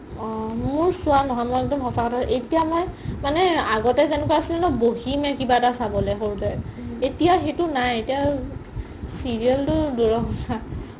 অ মোৰ চোৱা নহয় মই একদম সচা কথা এতিয়া মই মানে আগতে যেনেকুৱা আছিল ন বহিমে কিবা এটা চাবলে সৰুতে এতিয়া সেইটো নাই serial তো দুৰৰ কথা